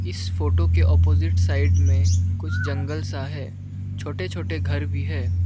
इस फोटो के opposite side में कुछ जंगल सा है छोटे छोटे घर भी हैं।